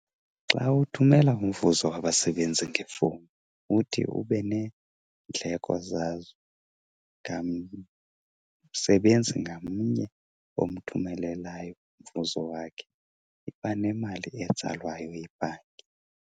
Xa uthumela umvuzo wabasebenzi ngefowuni uthi ube neendleko zazo. Ngamsebenzi ngamnye omthumelelayo umvuzo wakhe iba nemali etsalwayo yibhanki.